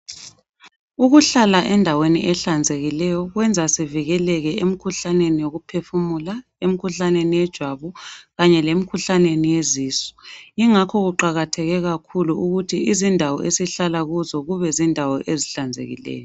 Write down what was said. Ukuhlala endaweni ehlanzekileyo kwenza sivikeleke emkhuhlaneni yokuphefumula, emkhuhlaneni yejwabu, Kanye le mkhuhlaneni yezisu. Ingakho kuqakatheke kakhulu ukuthi izindawo esihlala kuzo kube zindawo ezihlanzekileyo.